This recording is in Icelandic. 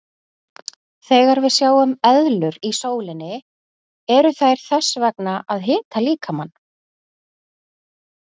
Þegar við sjáum eðlur í sólinni eru þær þess vegna að hita líkamann.